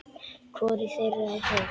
Hvorug þeirra er heil.